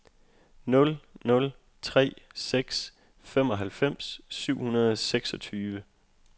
nul nul tre seks femoghalvfems syv hundrede og seksogtyve